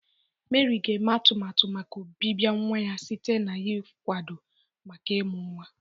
Meri ga-eme atumatu maka ọbịbịa nwa ya site n'ịkwado maka ịmụ nwa.